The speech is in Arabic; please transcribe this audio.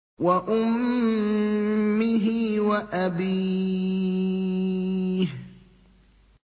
وَأُمِّهِ وَأَبِيهِ